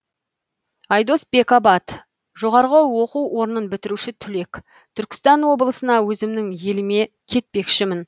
айдос бекабат жоғарғы оқу орнын бітіруші түлек түркістан облысына өзімнің еліме кетпекшімін